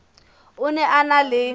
o ne a na le